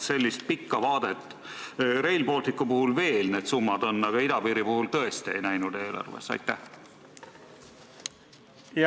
Sellist pikka vaadet Rail Balticu summade puhul veel on, aga idapiiri puhul seda eelarves tõesti ei näe.